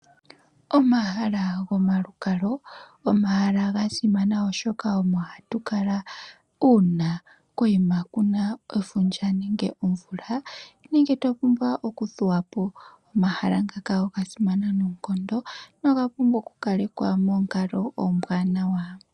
Omahala gomalukalwa omahala ga simana oshoka omo hatukala uuna koima kuna efundja nenge twapumbwa oku thuwapo . Omahala ngaka oga simana noonkondo noga pumbwa oku kalekwa monkalo ombwanawa.